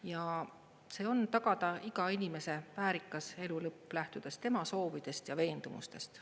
Ja see on: tagada iga inimese väärikas elu lõpp, lähtudes tema soovidest ja veendumustest.